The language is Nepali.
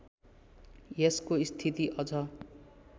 यसको स्थिति अझ